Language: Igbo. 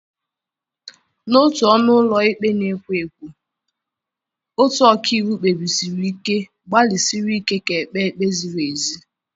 N'otu ọnụ ụlọ ikpe na-ekwo ekwo, otu ọkàiwu kpebisiri ike gbalịsiri ike ka e kpee ikpe ziri ezi.